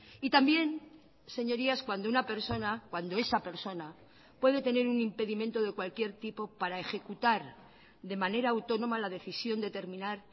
y también señorías cuando una persona cuando esa persona puede tener un impedimento de cualquier tipo para ejecutar de manera autónoma la decisión de terminar